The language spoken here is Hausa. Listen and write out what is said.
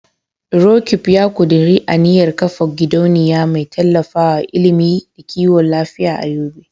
Roqeeb ya kuduri aniyar kafa gidauniya mai tallafawa ilimi da kiwon lafiya a Yobe.